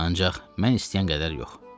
Ancaq mən istəyən qədər yox.